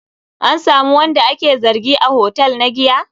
An samu wanda ake zargi a hotel na giya?